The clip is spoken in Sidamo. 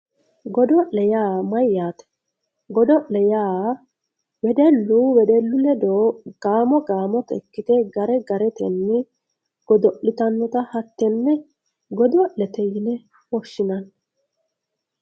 godo'le yaa mayyaate godo'le yaa wedellu wedellu ledo gaamo gaamotenni ikkite gare garetenni godo'litannota hattenne godo'lete yine woshshinanni.